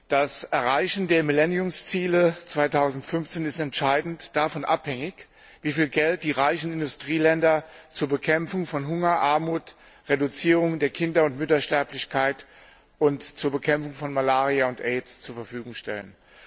Das Erreichen der Millenniumsziele 2015 ist entscheidend davon abhängig, wie viel Geld die reichen Industrieländer zur Bekämpfung von Hunger und Armut zur Reduzierung der Kinder und Müttersterblichkeit und zur Bekämpfung von Malaria und Aids zur Verfügung stellen.